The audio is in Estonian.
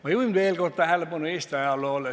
Ma juhin veel kord tähelepanu Eesti ajaloole.